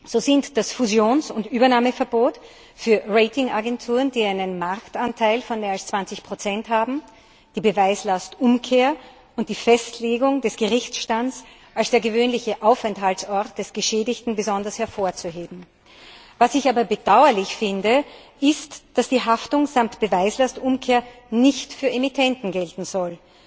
So sind das Fusions und Übernahmeverbot für Ratingagenturen, die einen Marktanteil von mehr als 20 haben, die Beweislastumkehr und die Festlegung des Gerichtsstands als des gewöhnlichen Aufenthaltsorts des Geschädigten besonders hervorzuheben. Was ich aber bedauerlich finde, ist, dass die Haftung samt Beweislastumkehr nicht für Emittenten gelten soll.